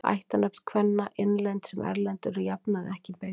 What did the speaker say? Ættarnöfn kvenna, innlend sem erlend, eru að jafnaði ekki beygð.